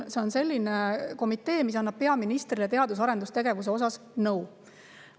See on selline komitee, mis annab peaministrile teadus‑ ja arendustegevuse kohta nõu.